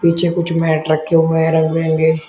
पीछे कुछ मैट रखे हुए हैं रंग बिरंगे।